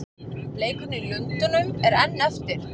Leikurinn í Lundúnum er enn eftir.